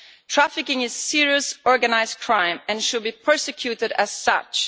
Trafficking is serious organised crime and should be prosecuted as such.